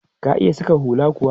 Ka iya saƙa hula kuwa?